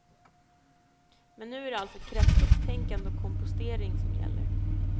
Men nu är det alltså kretsloppstänkande och kompostering som gäller.